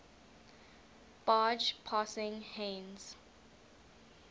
barge passing heinz